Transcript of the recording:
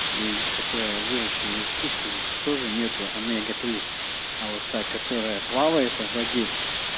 и которая выращенные искусственно тоже нету омега три а вот так которая плавает в воде